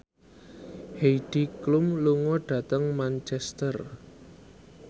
Heidi Klum lunga dhateng Manchester